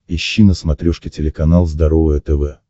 ищи на смотрешке телеканал здоровое тв